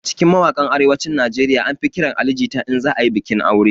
A cikin mawaƙan arewacin nigeria an fi ƙiran Ali jita in za ayi bikin aure